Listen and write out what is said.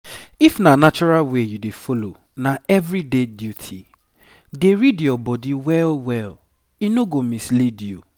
if na natural way you dey follow na everyday duty. dey read your body well well e no go mislead you.